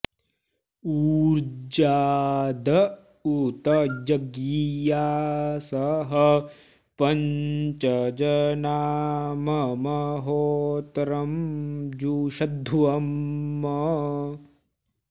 ऊर्जा॑द उ॒त य॑ज्ञियासः॒ पञ्च॑ जना॒ मम॑ हो॒त्रं जु॑षध्वम्